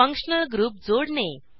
functional group जोडणे